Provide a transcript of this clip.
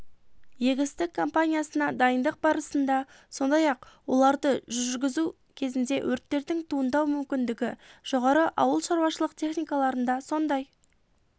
егістік компаниясына дайындық барысында сондай ақ оларды жүргізу кезінде өрттердің туындау мүмкіндігі жоғары ауылшарушылық техникаларында сондай